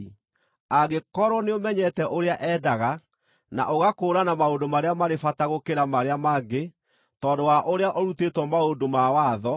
angĩkorwo nĩũmenyete ũrĩa endaga, na ũgakũũrana maũndũ marĩa marĩ bata gũkĩra marĩa mangĩ tondũ wa ũrĩa ũrutĩtwo maũndũ ma watho;